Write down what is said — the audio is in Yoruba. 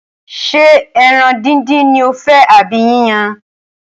Ṣé ẹran díndín ni o fẹ́ àbí yíyan?